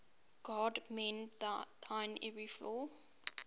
god mend thine every flaw